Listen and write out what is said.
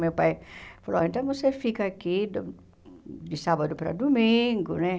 Meu pai falou, oh então você fica aqui do de sábado para domingo, né?